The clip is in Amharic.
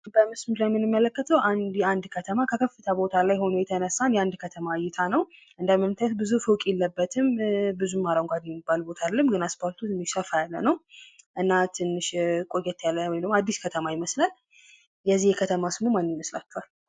በምሽቱ ላይ የምንመለከተው የአንድ ከተማ ከከፍታ ቦታ ላይ ሆኖ የተነሳ የአንድ ከተማ እይታ ነው። እንደምታዩት ብዙ ፎቅ የለበትም። ብዙም አረንጓዴ የሚባል ቦታ አደለም። አስፓልቱም ሰፋ ያለ ነው። እናም ትንሽ ቆየት ያለ አዲስ ከተማ ይመስላል። የዚህ የከተማ ስሙ ማን ይመስላቸዋል?